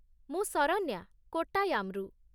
ମୁଁ ଶରନ୍ୟା, କୋଟ୍ଟାୟାମ୍‌ରୁ।